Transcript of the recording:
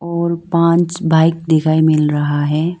और पांच बाइक दिखाई मिल रहा है।